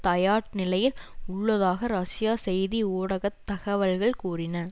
தயார் நிலையில் உள்ளதாக ரஷ்ய செய்தி ஊடக தகவல்கள் கூறின